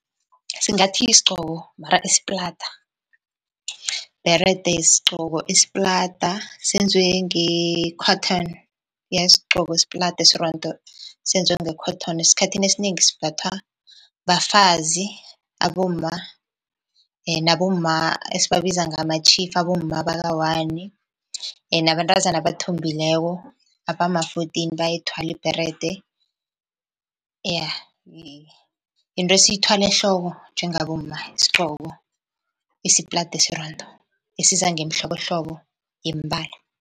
Singathi yisigcoko mara esiplada. Ibherede sgcoko esiplada senziwe nge-cotton, iya yisgcoko esiplada esirondo senziwe nge-cotton esikhathini esinengi simbathwa bafazi, abomma nabomma esibabiza ngama-chief, abomma baka-one nabantazana abathombileko, abama-fourteen bayayithwala ibherede, iya. Yinto esiyithwala ehloko njengabomma sgcoko esiplada esirondo esiza ngemihlobohlobo yemibala.